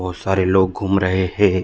बोहत सारे लोग घूम रहे हे ।